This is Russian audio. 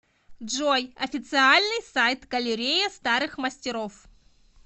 джой официальный сайт галерея старых мастеров